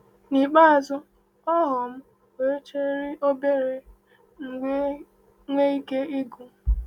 N’ikpeazụ, ọhụụ m weghachiri obere, m wee nwee ike ịgụ.